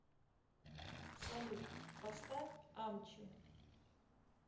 салют поставь амчи